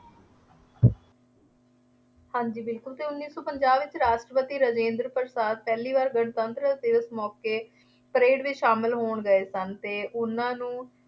ਹਾਂਜੀ ਬਿਲਕੁੱਲ ਅਤੇ ਉੱਨੀ ਸੌ ਪੰਜਾਹ ਵਿੱਚ ਰਾਸ਼ਟਰਪਤੀ ਰਾਜਿੰਦਰ ਪ੍ਰਸ਼ਾਦ ਪਹਿਲੀ ਵਾਰ ਗਣਤੰਤਰ ਦਿਵਸ ਮੌਕੇ ਪਰੇਡ ਵਿੱਚ ਸ਼ਾਮਿਲ ਹੋਣ ਗਏ ਸਨ ਅਤੇ ਉਹਨਾ ਨੂੰ